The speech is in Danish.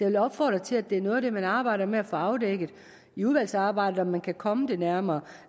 vil opfordre til at det er noget af det man arbejder med at få afdækket i udvalgsarbejdet altså om man kan komme det nærmere